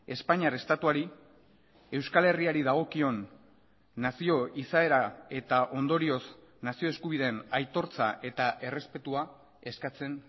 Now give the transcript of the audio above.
espainiar estatuari euskal herriari dagokion nazio izaera eta ondorioz nazio eskubideen aitortza eta errespetua eskatzen